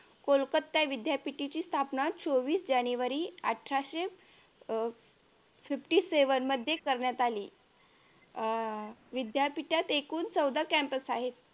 कोलकत्ता विद्यापीठेची स्थापना चोवीस जानेवारी अठराशे अह fifty seven मध्ये करण्यात आली अह विद्यापीठात एकूण चौदा campus आहेत